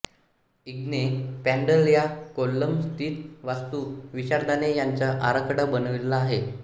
इग्ने पॅन्डल या कोल्लम स्थित वास्तु विशारदाणे याचा आराखडा बनविलेला आहे